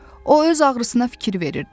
O öz ağrısına fikir verirdi.